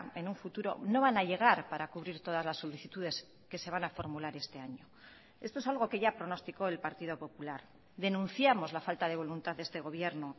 en un futuro no van a llegar para cubrir todas las solicitudes que se van a formular este año esto es algo que ya pronosticó el partido popular denunciamos la falta de voluntad de este gobierno